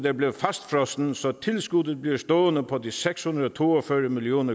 er blevet fastfrosset så tilskuddet bliver stående på de seks hundrede og to og fyrre million